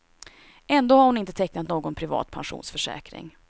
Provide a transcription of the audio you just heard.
Ändå har hon inte tecknat någon privat pensionsförsäkring.